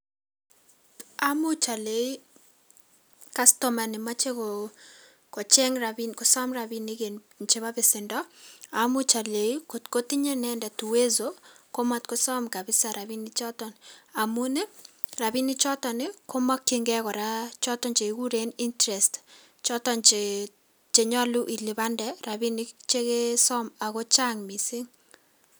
Amuch olei kastoma nemoche koo kocheng' kosom rabinik en chebo besendo, amuch olenji kotko tinye inendet uwezo komotkosom kabisa rabinichoton amun rabinichoton komokyingei kora chekikuren interest choton che chenyolu ilipande rabinik chekesom oko chang' missing'.